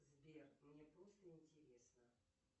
сбер мне просто интересно